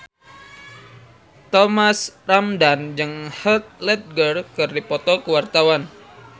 Thomas Ramdhan jeung Heath Ledger keur dipoto ku wartawan